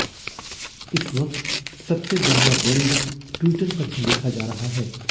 इस वक्त सबसे बढ़िया व्यंग्य टि्वटर पर ही लिखा जा रहा है